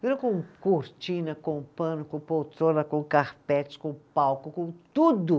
com cortina, com pano, com poltrona, com carpete, com palco, com tudo.